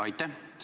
Aitäh!